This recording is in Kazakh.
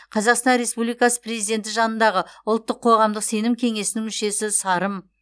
қазақстан республикасы президенті жанындағы ұлттық қоғамдық сенім кеңесінің мүшесі сарым